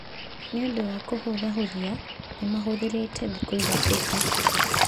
Nĩ ũndũ wa kũhũthahũthia, nĩ mahũthĩrĩte thikũ ithatũ tu.